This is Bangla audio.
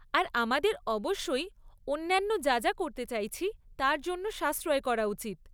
আর আমাদের অবশ্যই অন্যান্য যা যা করতে চাইছি, তার জন্য সাশ্রয় করা উচিত।